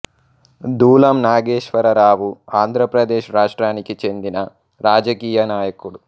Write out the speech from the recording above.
దూలం నాగేశ్వర రావు ఆంధ్రప్రదేశ్ రాష్ట్రానికి చెందిన రాజకీయ నాయకుడు